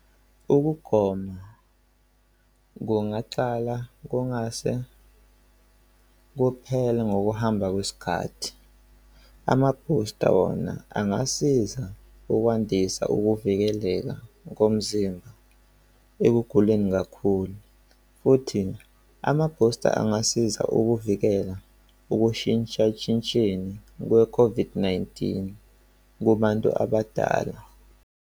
Ukugoma kungaqala kungase kuphela ngokuhamba kwesikhathi. Ama-booster wona angasiza ukwandisa ukuvikeleka ngomzimba ekuguleni kakhulu. Futhi amabhusta angasiza ukuvikela ukushintshashintsheni kwe-COVID-19 kubantu abadala.